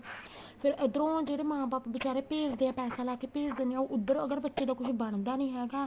ਫੇਰ ਉੱਧਰੋ ਜਿਹੜੇ ਮਾਂ ਬਾਪ ਬੀਚਾਰੇ ਭੇਜਦੇ ਏ ਪੈਸਾ ਲਾ ਕੇ ਭੇਜ ਦੇਨੇ ਏ ਉੱਧਰ ਅਗਰ ਬੱਚੇ ਦਾ ਕੁੱਝ ਬਣਦਾ ਨੀਂ ਹੈਗਾ